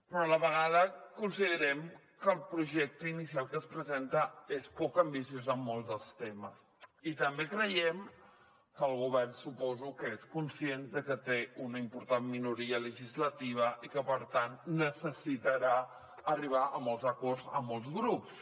però a la vegada considerem que el projecte inicial que es presenta és poc ambiciós en molts dels temes i també creiem que el govern suposo que és conscient de que té una important minoria legislativa i que per tant necessitarà arribar a molts acords amb molts grups